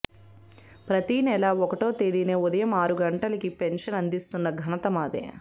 ప్రతీ నెలా ఒకటో తేదీనే ఉదయం ఆరు గంటలకే పెన్షన్ అందిస్తున్న ఘనత మాది